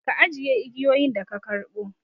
Ka ajiye igiyoyin da ka karɓo!